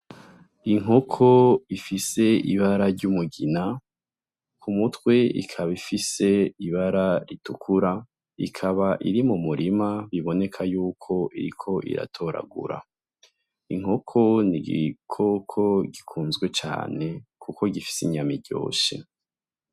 Inkoko ifise ibara ry'umugina ku mutwe ikaba ifise ibara ritukura ikaba iri mu murima biboneka yuko iriko iratoragura. lnkoko ni igikoko gikunzwe cane, kuko gifise inyami ryoshe.